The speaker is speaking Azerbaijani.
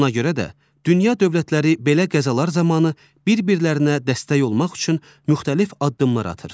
Buna görə də, dünya dövlətləri belə qəzalar zamanı bir-birlərinə dəstək olmaq üçün müxtəlif addımlar atır.